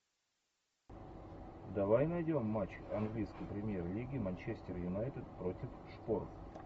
давай найдем матч английской премьер лиги манчестер юнайтед против шпор